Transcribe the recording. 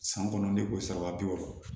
San kɔnɔn ne ko sara bi wɔɔrɔ